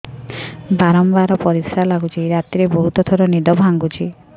ବାରମ୍ବାର ପରିଶ୍ରା ଲାଗୁଚି ରାତିରେ ବହୁତ ଥର ନିଦ ଭାଙ୍ଗୁଛି